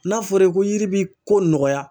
N'a fɔra i ko yiri bi ko nɔgɔya